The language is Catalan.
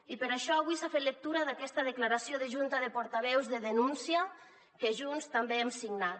i per això avui s’ha fet lectura d’aquesta declaració de junta de portaveus de denúncia que junts també hem signat